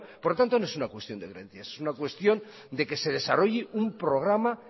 por lo tanto no es una cuestión de creencia es una cuestión de que se desarrolle un programa